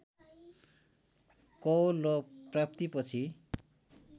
कवोल र प्राप्तिपछि